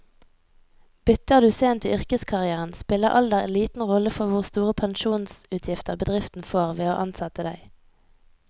Bytter du sent i yrkeskarrieren, spiller alder liten rolle for hvor store pensjonsutgifter bedriften får ved å ansette deg.